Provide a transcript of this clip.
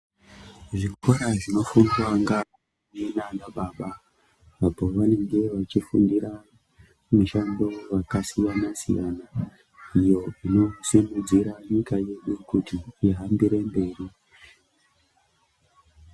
Zvikora zvinofundwa ngaana mai nanababa apo vanenge vachifundira mishando yakasiyana-siyana, iyo inosimudzira nyika yedu kuti ihambire mberi.